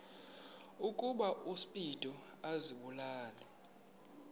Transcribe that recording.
ukuba uspido azibulale